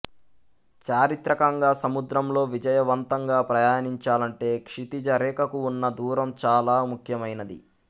చారిత్రికంగా సముద్రంలో విజయవంతంగా ప్రయాణించాలంటే క్షితిజ రేఖకు ఉన్న దూరం చాలా ముఖ్యమైనది